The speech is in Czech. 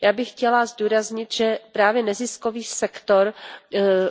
Já bych chtěla zdůraznit, že právě neziskový sektor